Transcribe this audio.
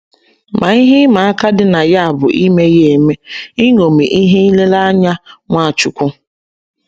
Ma ihe ịma aka dị na ya bụ ime ya eme, iṅomi ihe nlereanya Nwachukwu